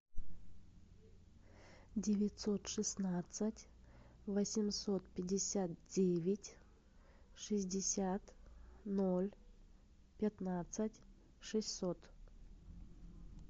девятьсот шестнадцать восемьсот пятьдесят девять шестьдесят ноль пятнадцать шестьсот